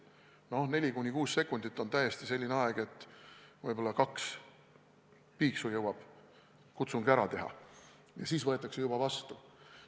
No 4–6 sekundit on täiesti selline aeg, et võib-olla kaks piiksu jõuab kutsung ära teha ja siis võetakse juba vastu.